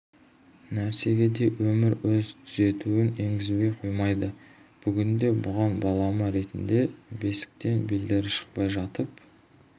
нәрсеге де өмір өз түзетуін енгізбей коймайды бүгінде бұған балама ретінде бесіктен белдері шықпай жатып